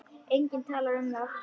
Enginn talar um það.